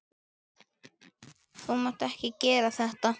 Þú mátt ekki gera þetta.